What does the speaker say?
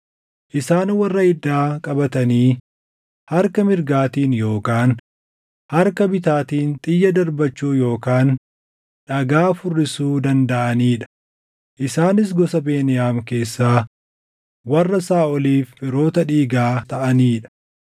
isaan warra iddaa qabatanii harka mirgaatiin yookaan harka bitaatiin xiyya darbachuu yookaan dhagaa furrisuu dandaʼanii dha; isaanis gosa Beniyaam keessaa warra Saaʼoliif firootaa dhiigaa taʼanii dha.